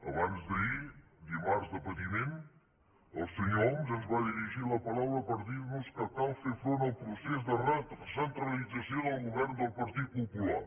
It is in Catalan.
abans d’ahir dimarts de patiment el senyor homs ens va dirigir la paraula per dir nos que cal fer front al procés de recentralització del govern del partit popular